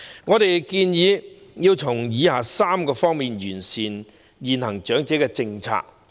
我們建議政府從以下3方面完善現行長者政策。